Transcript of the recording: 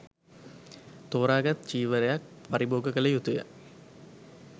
තෝරා ගත් චීවරයක් පරිභෝග කළ යුතු ය.